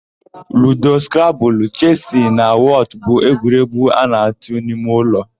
Ludo, skrabụlụ, chesị na wọtụ bụ egwuregwu a na-atụ n'ime ụlọ.